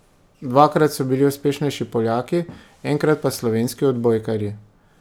Dvakrat so bili uspešnejši Poljaki, enkrat pa slovenski odbojkarji.